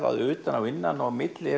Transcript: að utan og innan og á milli